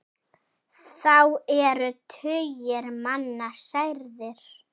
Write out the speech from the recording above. Þá eru tugir manna særðir.